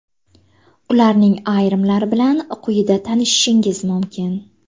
Ularning ayrimlari bilan quyida tanishishingiz mumkin.